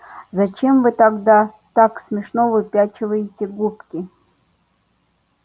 зачем вы тогда так смешно выпячиваете губки